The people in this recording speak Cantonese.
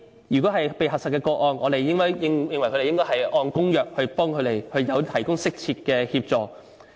就這些被核實的個案，我們認為當局應該按有關公約，為他們提供適切的協助。